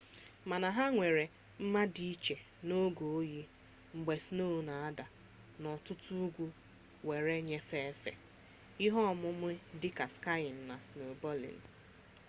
mana ha nwere mma dị iche n'oge oyi mgbe sno na-ada n'ọtụtụ ugwu were nyefe efe msks ihe omume dịka skiyin na snobọdịn